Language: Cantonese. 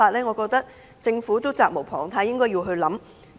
我認為政府責無旁貸，應要思量一下。